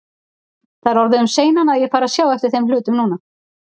Það er orðið um seinan, að ég fari að sjá eftir þeim hlutum núna.